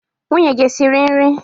Nwunye gị esiri nri?